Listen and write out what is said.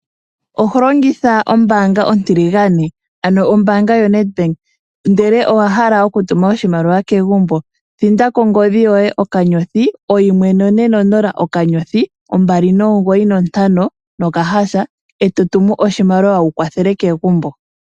Oho longitha ombaanga yoBank Windhoek, ndele owa hala okutuma oshimaliwa kegumbo? Thinda kongodhi yoye *140*295# e to tumu oshimaliwa wu kwathele kegumbo.